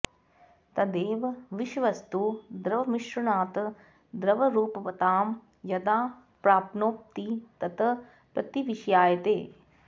तदेव विषवस्तु द्रवमिश्रणात् द्रवरूपतां यदा प्राप्नोति तत् प्रतिविषायते